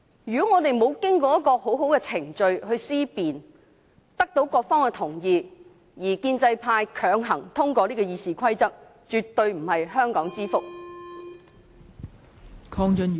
沒有經過充分的論辯，沒有得到各方的共識，建制派強行通過《議事規則》的修訂建議，絕對不是香港之福。